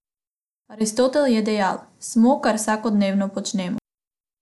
Aristotel je dejal: "Smo, kar vsakodnevno počnemo.